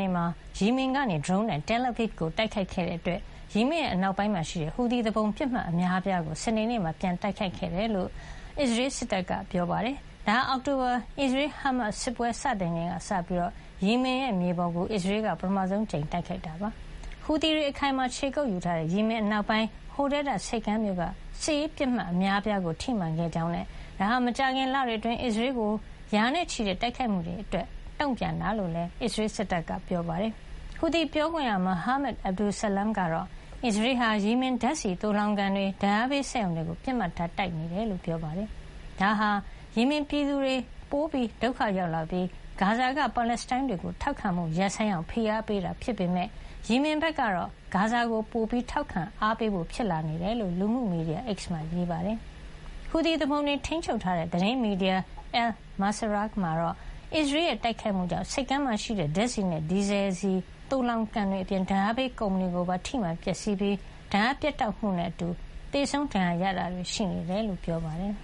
နေ့မှာ ယီမင်ကနေ ဒရုန်းနဲ့ Tel Aviv ကို တိုက်ခိုက်တဲ့ အတွက် ယီမင်အနောက်ပိုင်းမှာ ရှိတဲ့ ဟူသီသူပုန် ပစ်မှတ် အများအပြားကို စနေနေ့မှာ ပြန်လည်တိုက်ခိုက်ခဲ့တယ်လု့ိ အစ္စရေး စစ်တပ်က ပြောပါတယ်။ ဒါဟာ အောက်တိုဘာ အစ္စရေး- ဟားမတ်စ် စစ်ပွဲ စတင်ချိန်ကစပြီး ယီမင်မြေပေါ်ကို အစ္စရေးက ပထမဆုံး အကြိမ်တိုက်ခိုက်တာ ဖြစ်ပါတယ်။ ဟူသီတွေ အခိုင်အမာ ခြေကုပ်ယူထားတဲ့ ယီမင်အနောက်ပိုင်း Hodeidah ဆိပ်ကမ်းမြို့က စစ်ရေးပစ်မှတ် အများအပြားကို ထိမှန်ခဲ့ကြောင်းနဲ့ ဒါဟာ မကြာခင် လတွေ အတွင်း အစ္စရေးကို ရာနဲ့ချီတဲ့ တိုက်ခိုက်မှုတွေ အတွက် တုန့်ပြန်တာ ဖြစ်ကြောင်းလည်း အစ္စရေး စစ်တပ်က ပြောပါတယ်။ ဟူသီပြောခွင့်ရ မိုဟာမက် Abdulsalam ကတော့ အစ္စရေးဟာ၊ ယီမင်ဓါတ်ဆီသိုလှောင်ကန်တွေ၊ ဓါတ်အားပေးစက်ရုံတွေကို ပစ်မှတ်ထား တိုက်ခိုက် နေတယ်လို့ ပြောပါတယ်။ ဒါဟာ ယီမင်ပြည်သူတွေ ပိုဒုက္ခရောက်လာပြီး ဂါဇာက ပါလက်စတိုင်းတွေကို ထောက်ခံမှု ရပ်ဆိုင်းအောင် ဖိအားပေးတာ ဖြစ်ပေမယ့် ယီမင်ဘက်ကတော့ ဂါဇာကို ပိုပြီး ထောက်ခံအားပေးဖို့ ဖြစ်လာနေတယ် လို့ လူမှုမီဒီယာ X မှာ ရေးပါတယ်။ ဟူသီသူပုန်တွေ ထိန်းချုပ်ထားတဲ့ သတင်းမီဒီယာ Al-Masirah မှာတော့ အစ္စရေးရဲ့ တိုက်ခိုက်မှုကြောင့် ဆိပ်ကမ်းမှာရှိတဲ့ ဓါတ်ဆီနဲ့ ဒီဇယ်ဆီ သိုလှောင်ကန်တွေ အပြင် ဓါတ်အားပေးကုမ္ပဏီ ကိုပါ ထိမှန်ပျက်စီးပြီး ဓါတ်အား ပြတ်တောက်မှု တွေနဲ့ အတူ သေဆုံးဒဏ်ရာရတာတွေ ရှိနေတယ်လို့ ပြောပါတယ်